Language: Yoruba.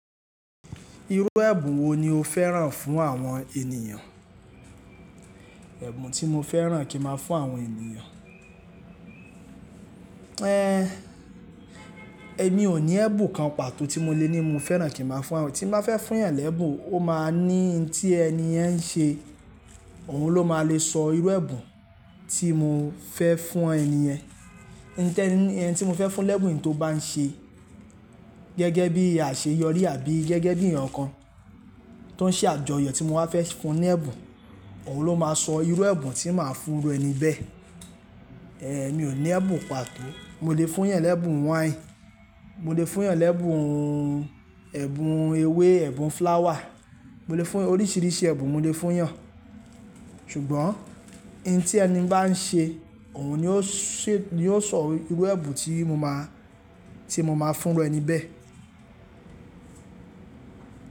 Irú ẹ̀bùn wo ni o fẹ́ràn fún àwọn ènìyàn? Ẹ̀bùn tí mo fẹ́ràn kí n máa fún àwọn ènìyàn. Èmi ò ní ẹ̀bùn kan pàtó tí mo lè ní mo fẹ́ràn kí n máa fún àwọn, tí n bá fẹ́ fún eeyan lẹ́bùn, ó máa ní ntí ẹni yẹn ń ṣe, òun ló máa le sọ irú ẹ̀bùn tí mo fẹ́ fún ẹni yẹn. Ní tẹ́ẹ́ ní ẹni tí mo fẹ́ fún lẹ́bùn tó bá ń ṣe gẹ́gẹ́ bí àṣeyọrí àbí gẹ́gẹ́ bí ẹeyan kan tó ń ṣe àjọyọ̀ tí mo wá fẹ́ fún un ní ẹ̀bùn, òun ló máa sọ irú ẹ̀bùn tí màá fún iru ẹni bẹ́ẹ̀. Èmi ò ní ẹ̀bùn pàtó, mo lè fún yàn lẹ́bùn wine, mo lè fún yàn lẹ́bùn ẹ̀bùn ewé, ẹ̀bùn flower, mo lè fún oríṣiríṣi ẹ̀bùn mo lè fún yàn. Ṣùgbọ́n n tí ẹni bá ń ṣe òhun ni ó sè, ni yóò sọ irú ẹ̀bùn tí mo máa, tí mo máa fún iru ẹni bẹ́ẹ̀.